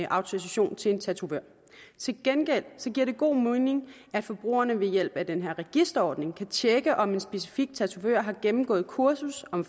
autorisation til en tatovør til gengæld giver det god mening at forbrugerne ved hjælp af den her registreringsordning kan tjekke om en specifik tatovør har gennemgået et kursus om